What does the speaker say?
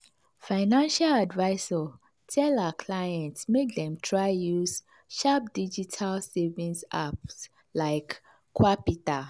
financial advisor tell her clients make dem try use sharp digital savings apps like qapital.